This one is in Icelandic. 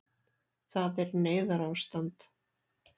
Það er neyðarástand